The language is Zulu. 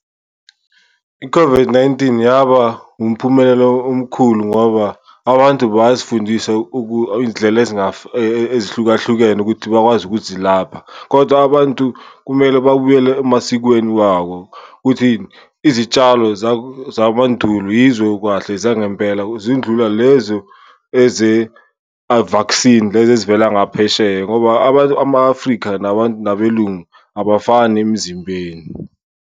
I-COVID-19 yaba umphumelela omkhulu ngoba abantu bazifundisa iy'ndlela ezihlukahlukene ukuthi bakwazi ukuzilapha, kodwa abantu kumele babuyele emasikweni wabo. Ukuthini? Izitshalo zamandulo yizo kahle zangempela zindlula lezo eze-vaccine lezi ezivela ngaphesheya, ngoba ama-Afrika nabelungu abafani emzimbeni.